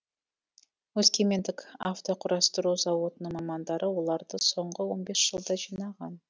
өскемендік автоқұрастыру зауытының мамандары оларды соңғы он бес жылда жинаған